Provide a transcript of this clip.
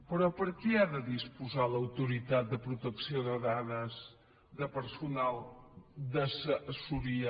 però per què ha de disposar l’autoritat de protecció de dades de personal d’assessoria